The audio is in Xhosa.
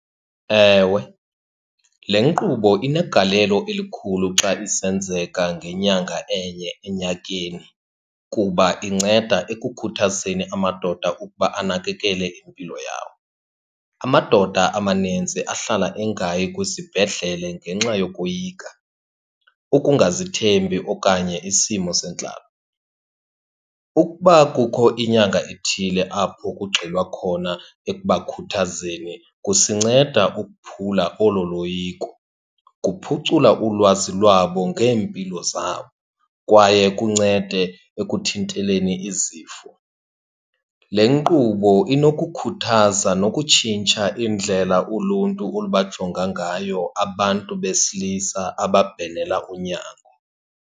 Ewe, le nkqubo inegalelo elikhulu xa isenzeka ngenyanga enye enyakeni kuba inceda ekukhuthazeni amadoda ukuba anakekele impilo yawo. Amadoda amanintsi ahlala engayi kwisibhedlele ngenxa yokoyika, ukungazithembi, okanye isimo sentlalo. Ukuba kukho inyanga ethile apho kugxilwa khona ekubakhuthazeni kusinceda ukuphula olo loyiko, kuphucula ulwazi lwabo ngeempilo zabo, kwaye kuncede ekuthinteleni izifo. Le nkqubo inokukhuthaza nokutshintsha indlela uluntu olubajonga ngayo abantu besilisa ababhenela unyango.